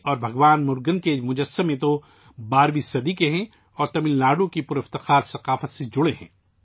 بھگوان مرگن کی مورتیاں تو 12ویں صدی کی ہیں اور تمل ناڈو تمل ناڈو کی شاندار ثقافت کا حصہ ہیں